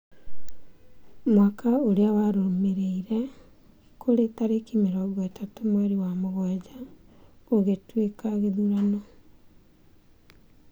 Mwaka ũrĩa warũmĩrĩire, kũrĩ tareki mĩrongo ĩtatũ mweri wa mũgwanja , gũgĩtuĩka gĩthurano